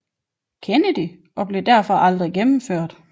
Kennedy og blev derfor aldrig gennemført